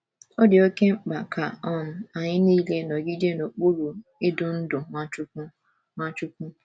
Ọ dị oké mkpa ka um anyị nile nọgide n’okpuru idu ndú Nwachukwu. Nwachukwu.